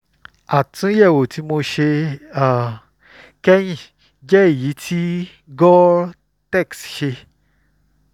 àtúnyẹ̀wò tí mo ṣe um kẹ́yìn jẹ́ èyí tí um gore-tex ṣe